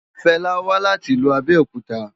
Fela wá láti ilú Abeokuta